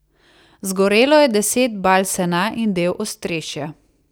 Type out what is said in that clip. Zgorelo je deset bal sena in del ostrešja.